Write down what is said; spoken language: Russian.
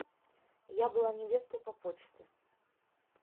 я была невестой по почте